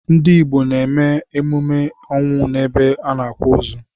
Ndị Igbo n'eme emume ọnwụ n'ebe a n'akwa ozu.